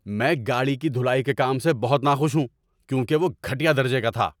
میں گاڑی کی دھلائی کے کام سے بہت ناخوش ہوں کیونکہ وہ گھٹیا درجے کا تھا۔